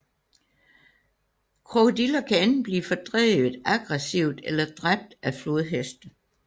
Krokodiller kan enten blive fordrevet aggressivt eller dræbt af flodheste